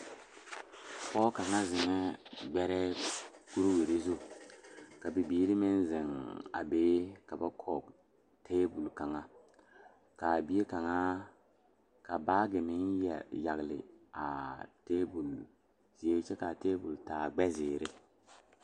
Pɔgeba kaŋ zeŋ la ka dɔɔba banuu a zɔŋ a a kuriwiire kaŋa eɛ ziɛ kyɛ taa peɛle kaa kuriwiire mine e sɔglɔ kyɛ ka konkobile fare a kuriwiire poɔ a e doɔre.